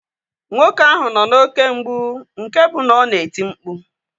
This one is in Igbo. Nwoke ahụ nọ n'oké mgbụ nke bụ na ọ na-eti mkpu